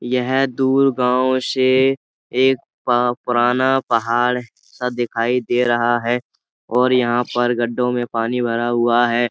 यह दूर गाँव से एक प पुराना पहाड़ सा दिखाई दे रहा है और यहाँ पर गड्ढों में पानी भरा हुआ है।